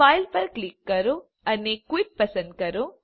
file પર click કરો અને ક્વિટ પસંદ કરો